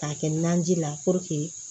K'a kɛ naji la